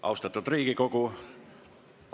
Austatud Riigikogu!